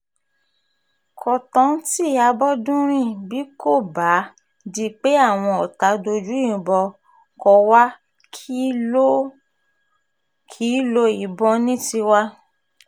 kọ́ńtántí àbọ́dúnrin bí kò bá um di pé àwọn ọ̀tá dójú ìbọn kó wá a kì í um lo ìbọn ní tiwa